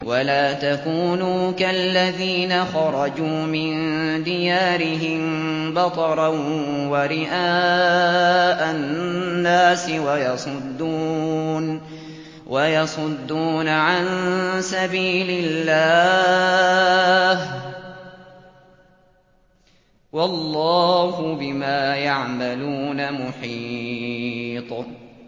وَلَا تَكُونُوا كَالَّذِينَ خَرَجُوا مِن دِيَارِهِم بَطَرًا وَرِئَاءَ النَّاسِ وَيَصُدُّونَ عَن سَبِيلِ اللَّهِ ۚ وَاللَّهُ بِمَا يَعْمَلُونَ مُحِيطٌ